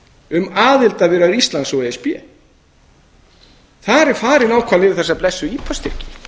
um aðildarviðræður íslands og e s b þar er farið nákvæmlega yfir þessa blessuðu ipa styrki